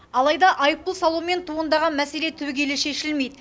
алайда айыппұл салумен туындаған мәселе түбегейлі шешілмейді